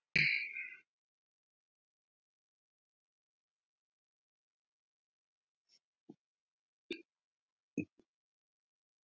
KR vann stórsigur á Breiðabliki